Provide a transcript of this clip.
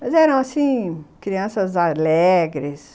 Mas eram, assim, crianças alegres.